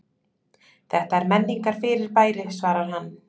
Þetta er menningarfyrirbæri svarar hann.